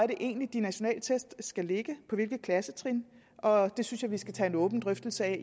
de nationale test skal ligge på hvilket klassetrin og det synes jeg vi skal tage en åben drøftelse af